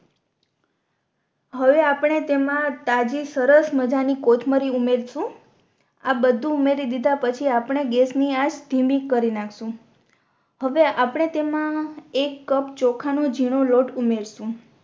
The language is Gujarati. હવે આપણે તેમા તાજી સરસ મજેની કોથમરી ઉમેરશુ આ બધુ ઉમેરી દીધા પછી આપણે ગેસ ની આચ ધીમી કરી નાખશુ હવે આપણે તેમા એક કપ ચોખા નો ઝીણો લોટ ઉમેરશુ